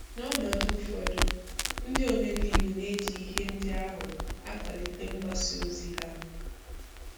N'ọnọdụ ụfọdụ, ndị omebe iwu na-eji ihe ndị ahụ akwalite mgbasa ozi ha.